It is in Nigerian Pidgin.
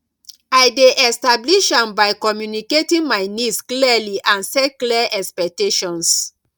i dey establish am by communicating my needs clearly and set clear expectations